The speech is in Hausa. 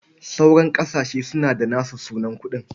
Sauran ƙasashe suna da nasu sunan kuɗi.